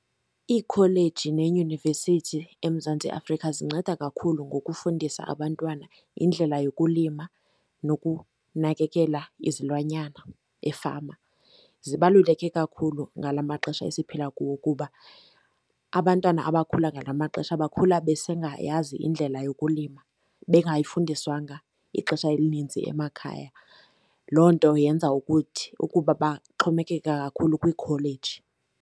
Iikholeji neeyunivesithi eMzantsi Afrika zinceda kakhulu ngokufundisa abantwana indlela yokulima nokunakekela izilwanyana efama. Zibaluleke kakhulu ngala maxesha esiphila kuwo kuba abantwana abakhula ngala maxesha bakhula besengayazi indlela yokulima, bengayifundiswanga ixesha elininzi emakhaya. Loo nto yenza ukuthi ukuba baxhomekeke kakhulu kwiikholeji.